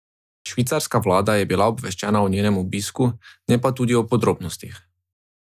Švicarska vlada je bila obveščena o njenem obisku, ne pa tudi o podrobnostih.